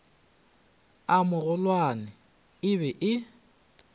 a magolwane e be e